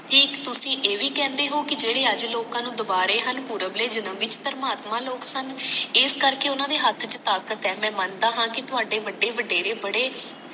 ਤੇ ਇਕ ਤੁਸੀ ਇਹ ਭੀ ਕਹਿੰਦੇ ਹੋ ਕਿ ਜੇਡੇ ਅੱਜ ਲੋਕਾਂ ਨੂੰ ਦੁਬਾਰੇ ਹਨ ਪੁਰਵਲੇ ਜਨਮ ਵਿੱਚ ਥਰਮਾਤਮਾ ਲੋਕ ਸਨ ਇਸ ਕਰਕੇ ਉਹਨਾਂ ਦੇ ਹੱਥ ਚ ਤਾਕਤ ਹੈ ਮੈਂ ਮਨਦਾ ਹਾਂ ਥੋੜੇ ਬੜੇ ਬਡੇਰੇ ਬੜੇ